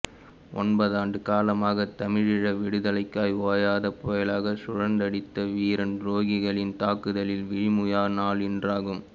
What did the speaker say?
ஒன்பது ஆண்டு காலமாக தமிழீழ விடுதலைக்காய் ஓயாத புயலாகச் சுழன்றடித்த வீரன் துரோகிகளின் தாக்குதலில் விழிமூய நாள் இன்றாகும்